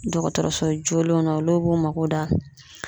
Dɔgɔtɔrɔso jolenw na olu b'u mako da